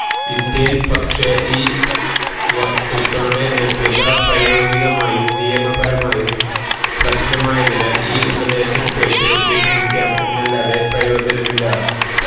ഇന്ത്യയിൽ പക്ഷെ ഈ വസ്തുക്കളുടെ ലഭ്യത പ്രായോഗികമായും നിയമപരമായും പ്രശ്നമായതിനാൽ ഈ ഉപദേശം കേട്ട് വിഷമിക്കാം എന്നല്ലാതെ പ്രയോജനമില്ല